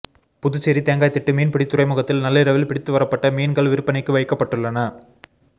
புதுச்சேரி தேங்காய்திட்டு மீன்பிடி துறைமுகத்தில் நள்ளிரவில் பிடித்து வரப்பட்ட மீன்கள் விற்பனைக்கு வைக்கப்பட்டுள்ளன